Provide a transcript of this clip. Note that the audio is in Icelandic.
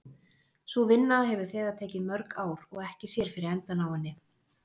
Sú vinna hefur þegar tekið mörg ár og ekki sér fyrir endann á henni.